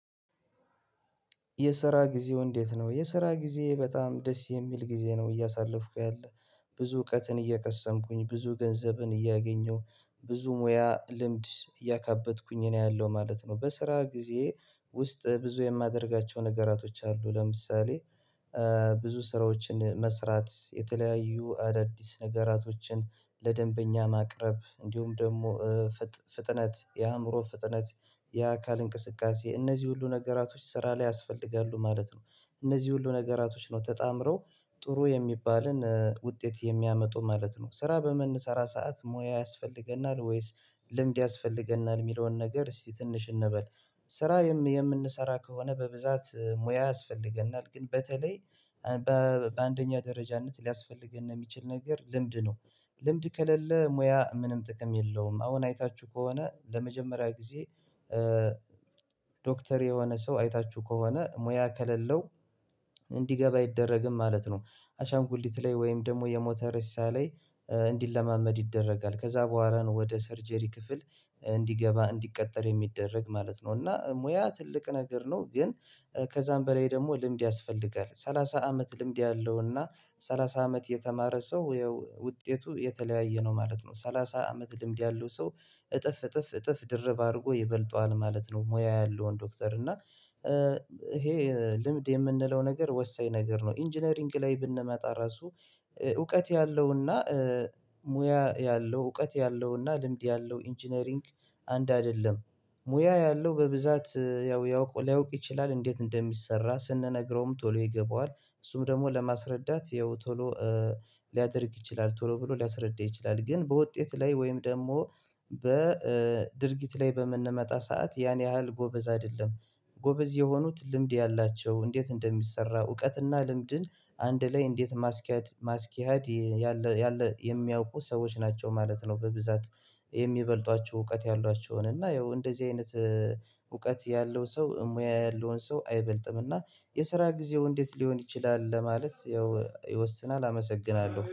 የስራ ጊዜው እንዴት ነው? የስራ ጊዜ በጣም ደስ የሚል ጊዜ ነው እያሳለፍኩ ያለ። ብዙ እውቀትን እየቀሰምኩኝ ብዙ ገንዘብን እያገኘሁ ብዙ ሙያ ልምድ እያካበትኩኝ ነው ያለው ማለት ነው። በስራ ጊዜ ውስጥ ብዙ የማደርጋቸው ነገራቶች አሉ ለምሳሌ። ብዙ ስራዎችን መስራት የተለያዩ አዳዲስ ነገራቶችን ለደንበኛ ማቅረብ እንዲሁም ደግሞ ፍጥነት የአእምሮ ፍጥነት የአካል እንቅስቃሴ እነዚህ ሁሉ ነገራቶች ስራ ላይ ያስፈልጋሉ ማለት ነው። እነዚህ ሁሉ ነገራቶች ነው ተጣምረው ጥሩ የሚባልን ውጤት የሚያመጡ ማለት ነው። ስራ በምንሰራ ሰዓት ሙያ ያስፈልገናል ወይስ ልምድ ያስፈልገናል የሚለውን ነገር? እስቲ ትንሽ እንበል ስራ የምንሰራ ከሆነ በብዛት ሙያ ያስፈልገናል ግን በተለይ በ በአንደኛ ደረጃነት ሊያስፈልገነ የሚችል ነገር ልምድ ነው። ልምድ ከሌለ ሙያ ምንም ጥቅም የለውም። አሁን አይታችሁ ከሆነ ለመጀመሪያ ጊዜ ዶክተር የሆነ ሰው አይታችሁ ከሆነ ሙያ ከሌለው እንዲገባ አይደረግም ማለት ነው። አሻንኩሊት ላይ ወይም ደግሞ የሞተ ሬሳ ላይ እንዲለማመድ ይደረጋል ከዛ በኋላ ነው ወደ ሰርጀሪ ክፍል እንዲገባ እንዲቀጠር የሚደረግ ማለት ነው። እና ሙያ ትልቅ ነገር ነው ግን ከዛም በላይ ደግሞ ልምድ ያስፈልጋል። ሰላሳ አመት ልምድ ያለውና ሰላሳ አመት የተማረ ሰው ያው ውጤቱ የተለያየ ነው ማለት ነው። ሰላሳ አመት ልምድ ያለው ሰው እጥፍ እጥፍ እጥፍ ድርብ አድርጎ ይበልጠዋል ማለት ነው። ሙያ ያለውን ዶክተር እና ይሄ ልምድ የምንለው ነገር ወሳኝ ነገር ነው። ኢንጂነሪንግ ላይ ብንመጣ ራሱ እውቀት ያለውና ሙያ ያለው እውቀት ያለውና ልምድ ያለው ኢንጂነሪንግ አንድ አይደለም። ሙያ ያለው በብዛት ያው ሊያውቅ ይችላል እንዴት እንደሚሰራ ስንነግረውም ቶሎ ይገባዋል እሱም ደግሞ ለማስረዳት ያው ቶሎ ሊያደርግ ይችላል ቶሎ ብሎ ሊያስረዳ ይችላል። ግን በውጤት ላይ ወይም ደግሞ በድርጊት ላይ በምንመጣ ሰዓት ያን ያህል ጎበዝ አይደለም። ጎበዝ የሆኑት ልምድ ያላቸው እንዴት እንደሚሰራ እውቀትና ልምድን አንድ ላይ እንዴት ማስኪያድ ማስኪሃያድ ያለ የሚያውቁ ሰዎች ናቸው ማለት ነው። በብዛት የሚበልጧቸው እውቀት ያሏቸውን እና ያው እንደዚህ አይነት እውቀት ያለው ሰው ሙያ ያለውን ሰው አይበልጥም እና። የስራ ጊዜው እንዴት ሊሆን ይችላል ለማለት ያው ይወስናል አመሰግናለሁ